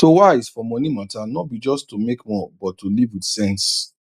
to wise for money matter no be just to make more but to live with sense